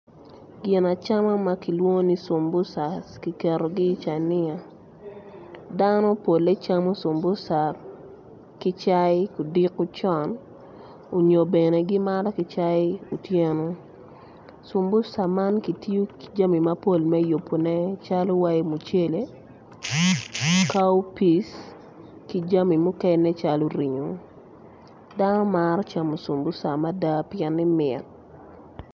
Ginacam ma kilwongo ni cumbusa kiketogi i cania dano polle gicamo kicayi kudiko con onyo bene gimato ki cayi otyeno cumbusa man kitiyo ki jami mapol me yubone calo mucele cowpeas ki jami mukene calo ringo, dano maro camo sum busa mada pieni camo mit.